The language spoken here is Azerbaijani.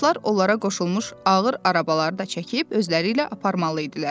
Atlar onlara qoşulmuş ağır arabalarda çəkib özləri ilə aparmalı idilər.